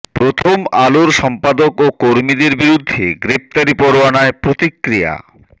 প্রথম আলোর সম্পাদক ও কর্মীদের বিরুদ্ধে গ্রেপ্তারি পরোয়ানায় প্রতিক্রিয়া